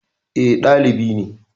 Eh, ɗalibi ne